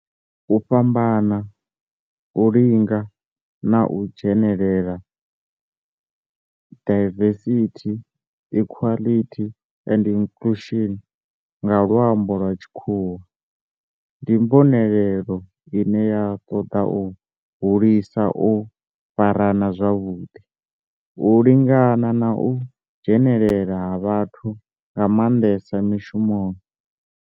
U fhambana, u lingana na u dzhenelela, diversity, equity and inclusion nga lwambo lwa tshikhuwa, ndi mbonelelo ine ya toda u hulisa u farana zwavhudi, u lingana na u dzhenelela ha vhathu nga mandesa mishumoni.